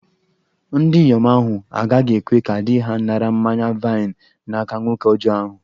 Ndinyom ahu agaghi-ekwe ka di-ha nara mmanya-vaịn n'aka nwoke ọjọ ahu